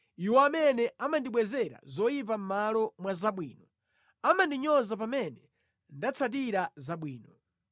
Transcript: Iwo amene amandibwezera zoyipa mʼmalo mwa zabwino amandinyoza pamene nditsatira zabwino.